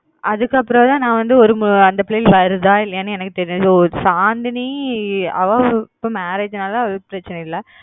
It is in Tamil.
அதுக்கு அப்புறம் தான் நான் வந்து ஒரு அந்த பிள்ளைங்க வருதா இல்லையான்னு எங்கு தெரியும் Chandni அவ marriage நாலா பிரச்னை இல்ல